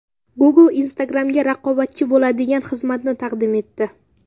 Google Instagram’ga raqobatchi bo‘ladigan xizmatni taqdim etdi.